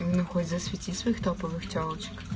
ну хоть засвети своих топовых тёлочек